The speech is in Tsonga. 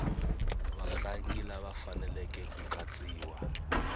vatlangi lava faneleke ku katsiwa